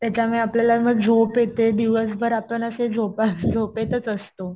त्याच्यामुळे आपल्याला झोप येते. दिवसभर आपण असे झोपा झोपेतच असतो.